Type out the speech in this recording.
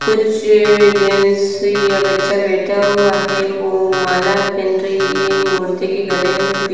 कुछ जेंस और बच्चे बैठा हुआ है वो माला पहन रही है मूर्ति के गले में भी--